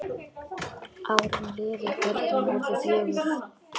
Árin liðu, börnin urðu fjögur.